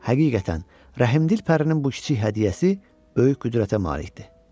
Həqiqətən, rəhimdil pərinin bu kiçik hədiyyəsi böyük qüdrətə malik idi.